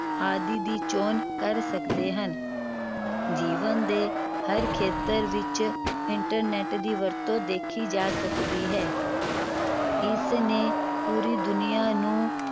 ਆਦਿ ਦੀ ਚੋਣ ਕਰ ਸਕਦੇ ਹਨ ਜੀਵਨ ਦੇ ਹਰ ਖੇਤਰ ਵਿਚ internet ਦੀ ਵਰਤੋਂ ਦੇਖੀ ਜਾ ਸਕਦੀ ਹੈ ਇਸ ਨੇ ਪੂਰੀ ਦੁਨੀਆ ਨੂੰ